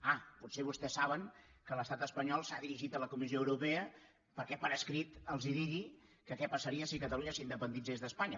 ah potser vostès saben que l’estat espanyol s’ha dirigit a la comissió europea perquè per escrit els digui que què passaria si catalunya s’independitzés d’espanya